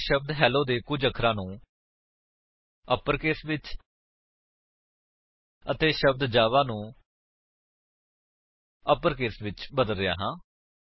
ਮੈਂ ਸ਼ਬਦ ਹੇਲੋ ਦੇ ਕੁੱਝ ਅੱਖਰਾਂ ਨੂੰ ਅਪਰਕੇਸ ਵਿੱਚ ਅਤੇ ਸ਼ਬਦ ਜਾਵਾ ਨੂੰ ਅਪਰਕੇਸ ਵਿੱਚ ਬਦਲ ਰਿਹਾ ਹਾਂ